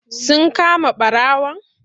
Sun kama ɓarawon?